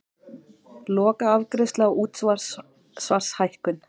Lokaafgreiðsla á útsvarshækkun